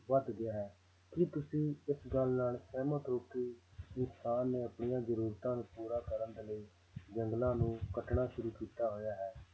ਵੱਧ ਗਿਆ ਹੈ ਕੀ ਤੁਸੀਂ ਇਸ ਗੱਲ ਨਾਲ ਸਹਿਮਤ ਹੋ ਕਿ ਕਿਸਾਨ ਨੇ ਆਪਣੀਆਂ ਜ਼ਰੂਰਤਾਂ ਨੂੰ ਪੂਰਾ ਕਰਨ ਦੇ ਲਈ ਜੰਗਲਾਂ ਨੂੰ ਕੱਟਣਾ ਸ਼ੁਰੂ ਕੀਤਾ ਹੋਇਆ ਹੈ